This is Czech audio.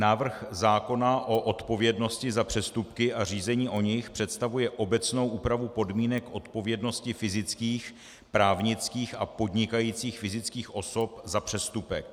Návrh zákona o odpovědnosti za přestupky a řízení o nich představuje obecnou úpravu podmínek odpovědnosti fyzických, právnických a podnikajících fyzických osob za přestupek.